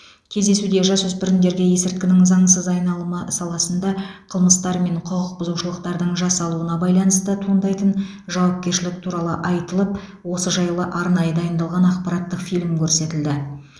кездесуде жасөспірімдерге есірткінің заңсыз айналымы саласында қылмыстар мен құқық бұзушылықтардың жасалуына байланысты туындайтын жауапкершілік туралы айтылып осы жайлы арнайы дайындалған ақпараттық фильм көрсетілді